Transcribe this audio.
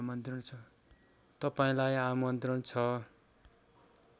तपाईँलाई आमन्त्रण छ